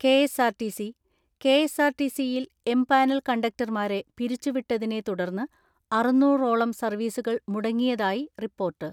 KSRTC യിൽ empanel കണ്ടക്ടർമാരെ പിരിച്ചുവിട്ടതിനെ തുടർന്ന് അറുന്നൂറോളം സർവ്വീസുകൾ മുടങ്ങിയതായി റിപ്പോർട്ട്.